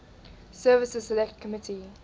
services select committee